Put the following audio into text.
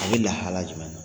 A bɛ lahala jumɛn na